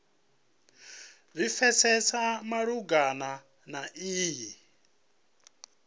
zwi pfesese malugana na iyi